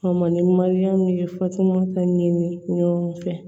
A ma ni mariyamu ye fatumata ɲiniw fɛ